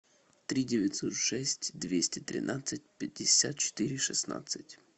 три девятьсот шесть двести тринадцать пятьдесят четыре шестнадцать